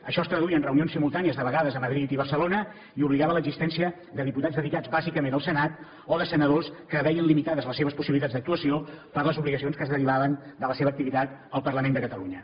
això es traduïa en reunions simultànies de vegades a madrid i barcelona i obligava a l’existència de diputats dedicats bàsicament al senat o de senadors que veien limitades les seves possibilitats d’actuació per les obligacions que es derivaven de la seva activitat al parlament de catalunya